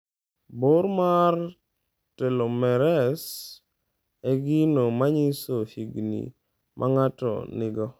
Bor mar Telomeres e gino manyiso higni ma ng'ato nigo.